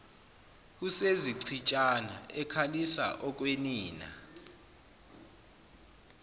usezichitshana ekhalisa okwenina